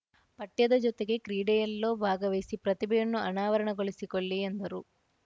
ಪಠ್ಯದ ಜೊತೆಗೆ ಕ್ರೀಡೆಯಲ್ಲಿಯೂ ಭಾಗವಹಿಸಿ ಪ್ರತಿಭೆಯನ್ನು ಅನಾವರಣಗೊಳಿಸಿಕೊಳ್ಳಿ ಎಂದರು